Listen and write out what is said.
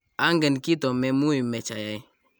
angen kito me muimech ayai